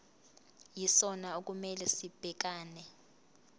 yisona okumele sibhekane